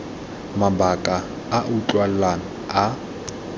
mabaka a a utlwalang a